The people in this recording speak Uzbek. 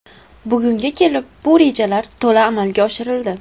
Bugunga kelib bu rejalar to‘la amalga oshirildi.